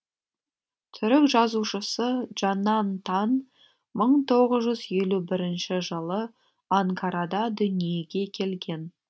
түрік жазушысы джанан тан мың тоғыз жүз елу бірінші жылы анкарада дүниеге келген